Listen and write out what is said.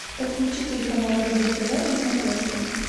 подключи телеканал рубль тв на смотрешке